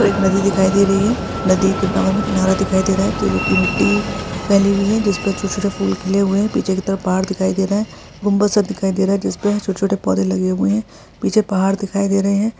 और एक नदी दिखाई दे रही है नदी के बराबर में किनारा दिखाई दे रहा है जो की मिट्टी फैली हुई है जिस पे छोटे-छोटे फूल खिले हुए है पीछे के तरफ पहाड़ दिखाई दे रहे है गुंबद सा दिखाई दे रहा है जिस पर छोटे-छोटे पौधे लगे हुए है पीछे पहाड़ दिखाई दे रहे है।